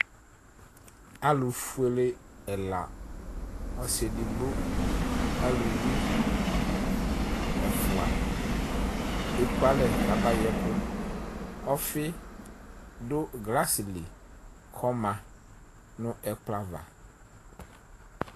Alu fuele ɛla ɔsi edigbo aluvi ɛfua eku alɛ ku aba yɛ ɛku Ɔfi du glasi li ku ɔma nu ɛkplɔ ava